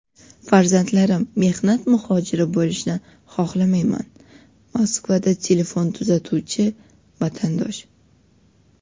"Farzandlarim mehnat muhojiri bo‘lishini xohlamayman" – Moskvada telefon tuzatuvchi vatandosh.